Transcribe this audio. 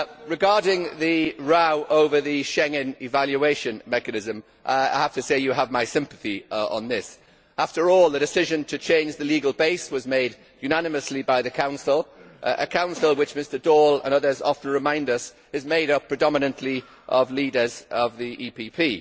Regarding the row over the Schengen evaluation mechanism, I have to say you have my sympathy on this. After all, the decision to change the legal base was made unanimously by the Council a Council which, as Mr Daul and others often remind us, is made up predominantly of leaders of the EPP.